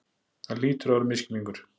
Það hlýtur að vera misskilningur.